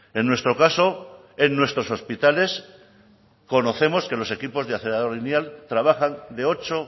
en nuestro caso en nuestros hospitales conocemos que los equipos de acelerador lineal trabajan de ocho